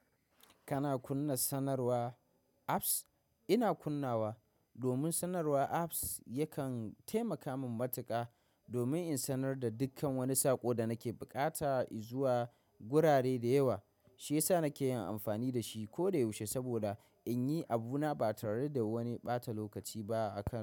Kana kunna sanarwa apps? Ina kunnawa domin sanarwa apps yakan taimaka min matuƙa domin in sanar da dukkan wani saƙo da nake buƙata in zuwa gurare da yawa. Shiyasa nake yin amfani da shi koyaushe saboda in yi abuna ba tare da wani ɓata lokaci ba a kasuwa.